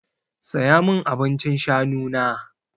Saya min abincin shanu na!